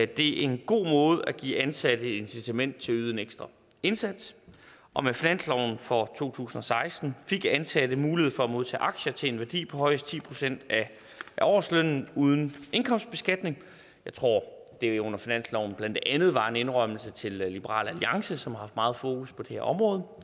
det er en god måde at give ansatte incitament til at yde en ekstra indsats og med finansloven for to tusind og seksten fik ansatte mulighed for at modtage aktier til en værdi på højst ti procent af årslønnen uden indkomstbeskatning jeg tror det under finansloven blandt andet var en indrømmelse til liberal alliance som har haft meget fokus på det her område